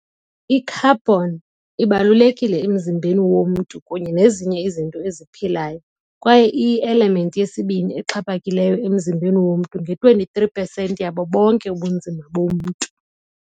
I-Carbon ibalulekile emzimbeni womntu kunye nezinye izinto eziphilayo, kwaye iyi-element yesibini exhaphakileyo emzimbeni womntu, nge-23 pesenti yabo bonke ubunzima bomntu.